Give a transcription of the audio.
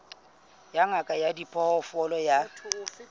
ya ngaka ya diphoofolo ya